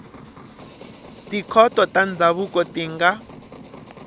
tikhoto ta ndzhavuko ti nga